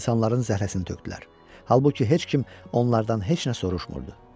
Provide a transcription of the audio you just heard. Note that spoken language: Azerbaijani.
İnsanların zəhləsini tökdülər, halbuki heç kim onlardan heç nə soruşmurdu.